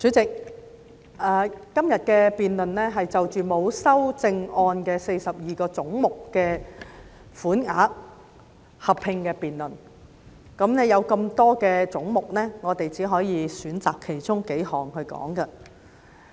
主席，今天的合併辯論是就着沒有修正案的42個總目的款額納入附表，但由於總目眾多，我們只能選擇其中數個來討論。